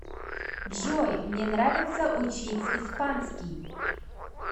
джой мне нравится учить испанский